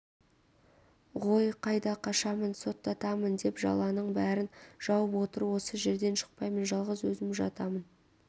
ғой қайда қашамын соттатамын деп жаланың бәрін жауып отыр осы жерден шықпаймын жалғыз өзім жатамын